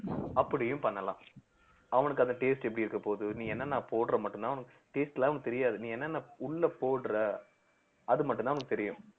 அப்படியும் பண்ணலாம் அவனுக்கு அந்த taste எப்படி இருக்கப் போகுது நீ என்னென்ன போடுற மட்டும்தான் taste லாம் அவங்களுக்கு தெரியாது நீ என்னென்ன உள்ள போடுற அது மட்டும்தான் அவுங்களுக்கு தெரியும்